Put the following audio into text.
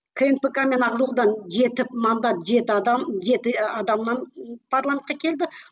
кнпк мен ақ жолдан жеті мандат жеті адам жеті адамнан парламентке келді